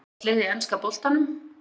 Uppáhaldslið í enska boltanum?